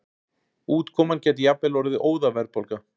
Útkoman gæti jafnvel orðið óðaverðbólga.